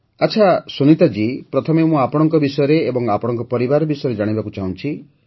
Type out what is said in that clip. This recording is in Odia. ଆଚ୍ଛା ସୁନୀତା ଜୀ ପ୍ରଥମେ ମୁଁ ଆପଣଙ୍କ ବିଷୟରେ ଏବଂ ଆପଣଙ୍କ ପରିବାର ବିଷୟରେ ଜାଣିବାକୁ ଚାହୁଁଛି